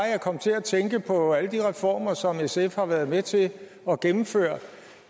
jeg kom til at tænke på alle de reformer som sf har været med til at gennemføre